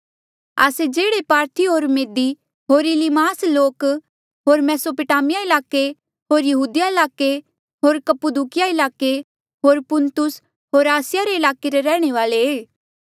आस्से जेह्ड़े पारथी होर मेदी होर इलीमास लोक होर मेसोपोटामिया ईलाके होर यहूदिया ईलाके होर कप्पुदुकीया ईलाके होर पुन्तुस होर आसिया रे ईलाके रैहणे वाले